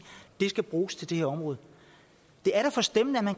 de skal bruges til det her område det er da forstemmende at man